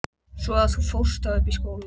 Svo að þú fórst þá upp í skóla?